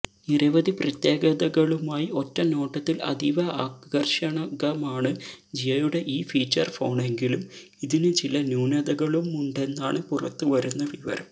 നിരവധി പ്രത്യേകതകളുമായി ഒറ്റനോട്ടത്തില് അതീവ ആകര്ഷകമാണ് ജിയോയുടെ ഈ ഫീച്ചര് ഫോണെങ്കിലും ഇതിന് ചില ന്യൂനതകളുമുണ്ടെന്നാണ് പുറത്തുവരുന്ന വിവരം